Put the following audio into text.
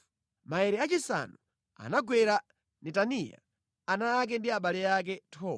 Maere achisanu anagwera Netaniya, ana ake ndi abale ake. 12